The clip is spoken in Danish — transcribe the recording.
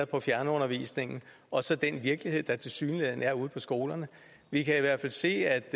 på fjernundervisningen og så den virkelighed der tilsyneladende er ude på skolerne vi kan i hvert fald se at